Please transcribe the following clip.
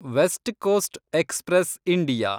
West coast express India